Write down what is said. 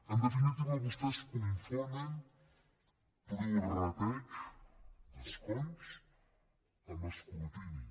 en definitiva vostès confonen prorrateig d’escons amb escrutini